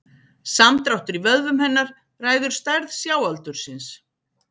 Samdráttur í vöðvum hennar ræður stærð sjáaldursins.